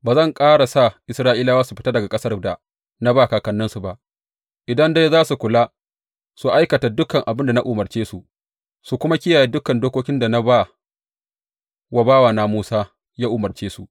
Ba zan ƙara sa Isra’ilawa su fita daga ƙasar da na ba kakanninsu ba, idan dai za su kula su aikata dukan abin da na umarce su, su kuma kiyaye dukan dokokin da na ba wa bawana Musa yă umarce su.